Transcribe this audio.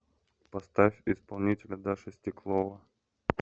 поставь исполнителя даша стеклова